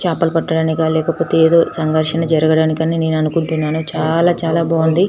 చాపలు పట్టడానికా లేకపోతె ఎదో సాగర్శనము జరగడానికి అని నేను అనుకుంటున్నాను చాల చాల బాగుంది.